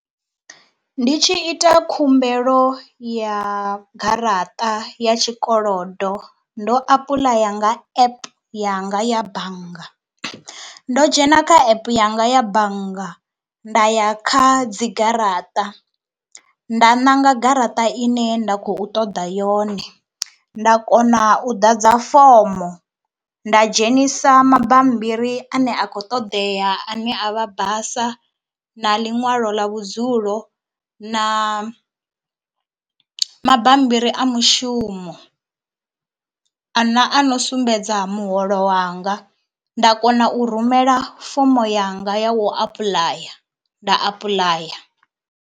Ndi tshi ita khumbelo ya garaṱa ya tshikolodo ndo apuḽaya nga app yanga ya bannga. Ndo dzhena kha app yanga ya bannga nda ya kha dzi garaṱa nda ṋanga garaṱa ine nda khou ṱoḓa yone, nda kona u ḓadza fomo, nda dzhenisa mabambiri ane a kho ṱoḓea ane a vha basa, na ḽiṅwalo ḽa vhudzulo na mabambiri a mushumo ana ano sumbedza muholo wanga, nda kona u rumela fomo yanga ya u apuḽaya nda apuḽaya.